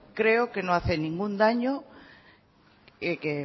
creo que no hace ningún daño el que